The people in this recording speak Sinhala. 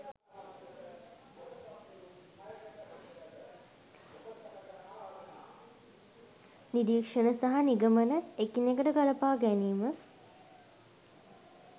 නිරීක්‍ෂණ සහ නිගමන එකිනෙකට ගලපා ගැනීම